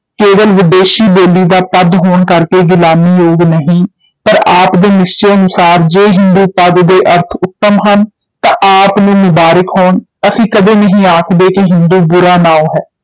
ਕੇਵਲ ਵਿਦੇਸ਼ੀ ਬੋਲੀ ਦਾ ਪਦ ਹੋਣ ਕਰਕੇ ਗਿਲਾਨੀ ਯੋਗ ਨਹੀਂ, ਪਰ ਆਪ ਦੇ ਨਿਸ਼ਚੇ ਅਨੁਸਾਰ ਜੇ ਹਿੰਦੂ ਪਦ ਦੇ ਅਰਥ ਉਤਮ ਹਨ ਤਾਂ ਆਪ ਨੂੰ ਮੁਬਾਰਿਕ ਹੋਣ, ਅਸੀਂ ਕਦੇ ਨਹੀਂ ਆਖਦੇ ਕਿ ਹਿੰਦੂ ਬੁਰਾ ਨਾਉਂ ਹੈ,